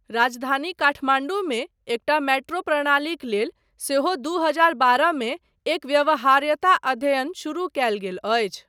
राजधानी काठमाण्डूमे एकटा मेट्रो प्रणालीक लेल सेहो दू हजार बारह मे एक व्यवहार्यता अध्ययन शुरू कयल गेल अछि।